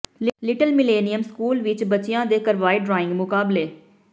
little Millennium school ਵਿਚ ਬੱਚਿਆਂ ਦੇ ਕਰਵਾਏ ਡਰਾਇੰਗ ਮੁਕਾਬਲੇ